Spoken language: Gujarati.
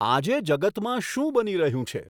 આજે જગતમાં શું બની રહ્યું છે